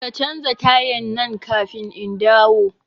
Ka canza tayan nan kafin indawo